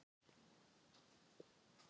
Sá sem spyr Eru geimverur til?